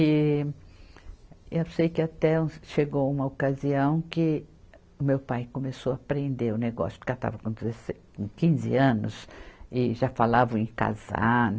E eu sei que até uns, chegou uma ocasião que o meu pai começou a prender o negócio, porque ela estava com dezesse, com quinze anos e já falavam em casar